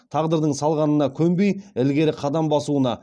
тағдырдың салғанына көнбей ілгері қадам басуына